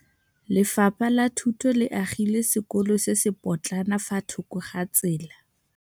Lefapha la Thuto le agile sekôlô se se pôtlana fa thoko ga tsela.